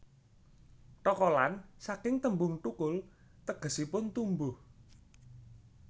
Thokolan saking tembung thukul tegesipun tumbuh